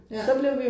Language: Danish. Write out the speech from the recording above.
Ja